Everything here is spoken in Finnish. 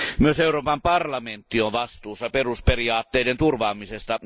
Myös Euroopan parlamentti on vastuussa perusperiaatteiden turvaamisesta.